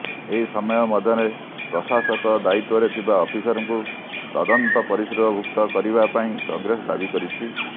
ଏହିସମୟ ମଧ୍ୟରେ ପ୍ରଶାସକ ଦାୟିତ୍ୱରେ ଥିବା ଅଫିସରଙ୍କୁ ତଦନ୍ତ ପରିସରଭୁକ୍ତ କରିବା ପାଇଁ କଂଗ୍ରେସ ଦାବି କରିଛି